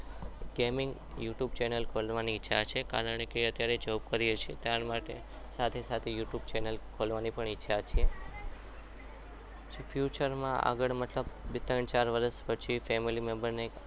કેમિંગ youtube channel ખોલવાની ઈચ્છા છે કારણ કે અત્યારે job કરીએ છીએ પણ સાથે સાથે youtube channel ચેનલ ખોલવાની પણ ઈચ્છા છે future માં ત્રણ ચાર વર્ષ પછી family member ને